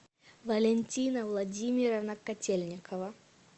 валентина владимировна котельникова